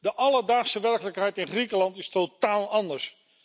De alledaagse werkelijkheid in Griekenland is totaal anders.